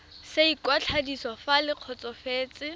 sa ikwadiso fa le kgotsofetse